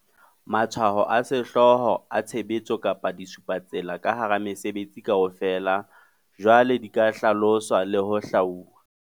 Matshwao a sehlooho a tshebetso kapa disupatsela ka hara mesebetsi kaofela jwale di ka hlaloswa le ho hlwauwa.